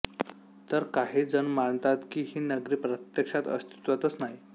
तर काही जण मानतात की ही नगरी प्रत्यक्षात अस्तित्वातच नाही